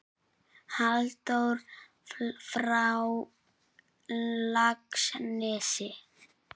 Halldór frá Laxnesi?